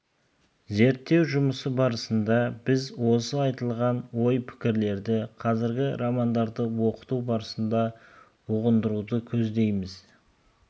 зерттеу жұмысы барысында біз осы айтылған ой-пікірлерді қазіргі романдарды оқыту барысында ұғындыруды көздейміз